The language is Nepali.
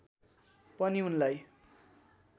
पनि उनलाई